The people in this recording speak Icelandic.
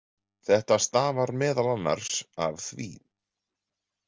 Þetta stafar meðal annars af því.